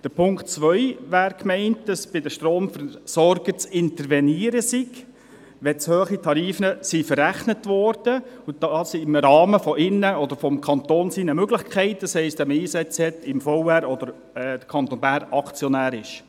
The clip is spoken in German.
Beim Punkt 2 wäre die Meinung, dass bei den Stromversorgern zu intervenieren sei, wenn zu hohe Tarife verrechnet wurden, und dies im Rahmen der Möglichkeiten des Kantons, das heisst, wenn man Einsitz im Verwaltungsrat (VR) hat oder der Kanton Bern Aktionär ist.